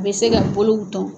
A bɛ se ka bolow tɔn.